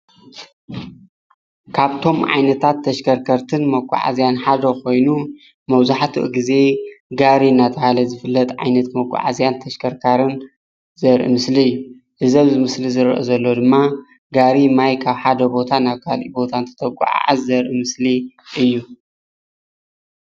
ካብቶም ዓይነታት ተሽከትከርትን መጓዓዝያን ሓደ ኮይኑ መብዛሕትኡ ግዜ ጋሪ እንዳተባሃለ ዝፍለጥ ዓይነት መጓዓዝያን ተሽከርካርን ዘርኢ ምስሊ እዩ፡፡ እዚ ኣብ ምስሊ እንሪኦ ዘለና ድማ ጋሪ ማይ ካብ ሓደ ቦታ ናብ ካልእ ቦታ እንተጓዓዕዝ ዘርኢ ምስሊ እዩ፡፡